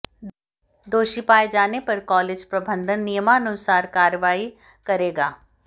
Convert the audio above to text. दोषी पाए जाने पर कॉलेज प्रबंधन नियमानुसार कार्रवाई करेगा